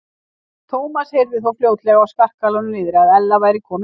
Thomas heyrði þó fljótlega á skarkalanum niðri að Ella væri komin heim.